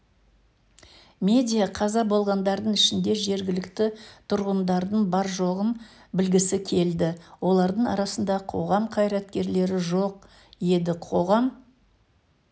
медиа қаза болғандардың ішінде жергілікті тұрғындардың бар-жоғын білгісі келді олардың арасында қоғам қайраткерлері жоқ еді қоғам